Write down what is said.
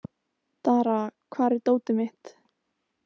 Dara, hvar er dótið mitt?